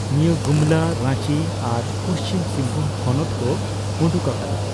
ᱱᱤᱭᱟᱹ ᱜᱩᱢᱚᱞᱟ, ᱨᱟᱸᱪᱤ ᱟᱨ ᱯᱩᱪᱷᱤᱢ ᱥᱤᱝᱵᱷᱩᱢ ᱦᱚᱱᱚᱛ ᱠᱚ ᱩᱰᱩᱠ ᱟᱠᱟᱫᱟ᱾